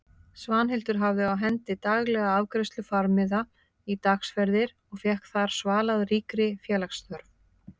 Svanhildur hafði á hendi daglega afgreiðslu farmiða í dagsferðir og fékk þar svalað ríkri félagsþörf.